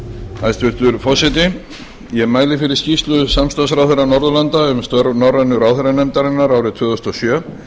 hæstvirtur forseti ég mæli fyrir skýrslu samstarfsráðherra norðurlanda um störf norrænu ráðherranefndarinnar árið tvö þúsund og sjö